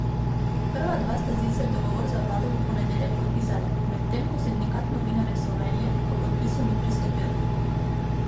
Prva dva sta sicer dogovor z vlado v ponedeljek podpisala, medtem ko Sindikat novinarjev Slovenije k podpisu ni pristopil.